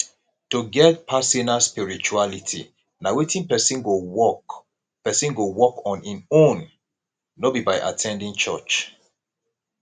to get personal spirituality na wetin person go work person go work on in own no be by at ten ding church